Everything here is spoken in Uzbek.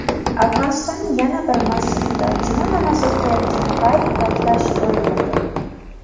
Afg‘onistonning yana bir masjidida juma namozi o‘qilayotgan payt portlash ro‘y berdi.